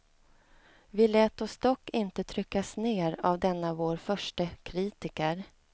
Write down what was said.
Vi lät oss dock inte tryckas ner av denna vår förste kritiker.